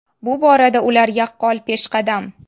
Bu borada ular yaqqol peshqadam.